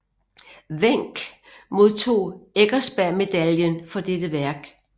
Wenck modtog Eckersberg Medaillen for dette værk